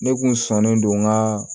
Ne kun sɔnnen don n ka